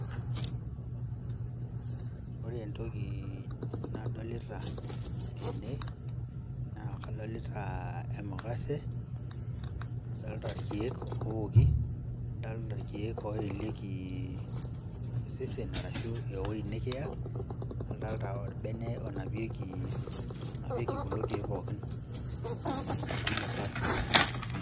Ore entoki nadolita tene naa kadolita emukase, nadolita irkiek owoki, nadolita irkiek oyelieki osesen arashu weuji nikiya, nadolita orbene onapieki kulo kiek pooki looji le First Aid